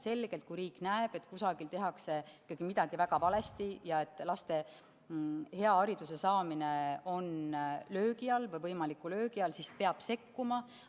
Et kui riik selgelt näeb, et kusagil tehakse ikka midagi väga valesti ja laste hea hariduse saamine on löögi all, või võimaliku löögi all, siis peab sekkuma.